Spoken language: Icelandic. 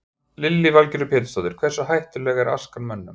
Lillý Valgerður Pétursdóttir: Hversu hættuleg er askan mönnum?